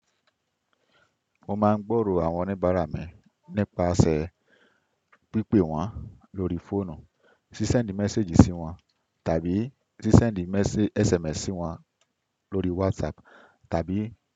Mo máa ń gbòòrò àwọn oníbàárà mi nípasẹ̀ pípé wọ́n lórí fóònù, ṣí sẹ́ẹ̀ndì méséèjì sí wọ́n tàbí ṣí sẹ́ẹ̀ndì SMS sí wọ́n lórí Whatsapp tàbí.